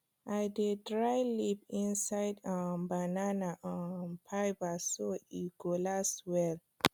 i dey dry leaf inside um banana um fibre so e go last well